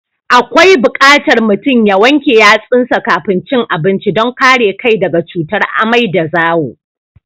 Akwai buƙatar mutum ya wanke yatsunsa kafin cin abinci don kare kai daga cutar amai da zawo.